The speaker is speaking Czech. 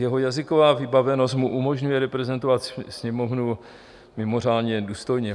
Jeho jazyková vybavenost mu umožňuje reprezentovat Sněmovnu mimořádně důstojně.